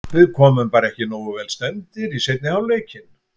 Við komum bara ekki nógu vel stemmdir í seinni hálfleikinn.